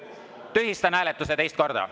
Tühistan hääletuse teist korda.